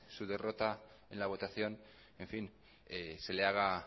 su derrota en la votación se le haga